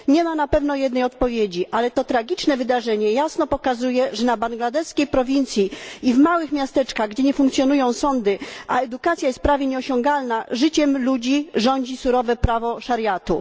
Nie ma na pewno jednej odpowiedzi, ale to tragiczne wydarzenie jasno pokazuje, że na bangladeskiej prowincji i w małych miasteczkach, gdzie nie funkcjonują sądy, a edukacja jest prawie nieosiągalna, życiem ludzi rządzi surowe prawo szariatu.